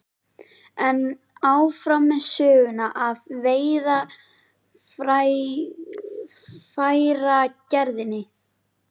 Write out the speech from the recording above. En áfram með söguna af veiðarfæragerðinni.